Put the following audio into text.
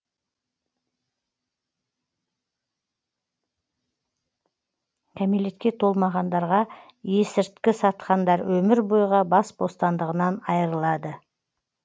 кәмелетке толмағандарға есірткі сатқандар өмір бойға бас бостандығынан айырылады